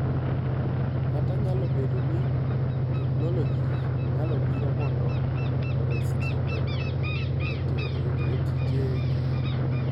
kata nyalo bedo ni teknoloji nyalo biro mondo ores ji e tijegi.